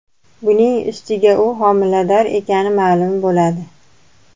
Buning ustiga, u homilador ekani ma’lum bo‘ladi.